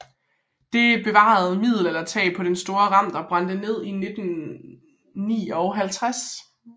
Det bevarede middelaldertag på den store Remter brændte ned i 1959